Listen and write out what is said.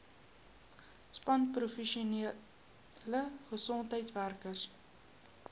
span professionele gesondheidswerkers